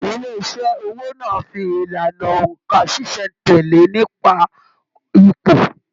Ilé iṣẹ owó náà fí ìlànà óńka ṣiṣẹ-n-tẹle nípa ipò.